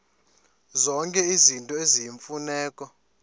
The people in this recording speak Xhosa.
zonke izinto eziyimfuneko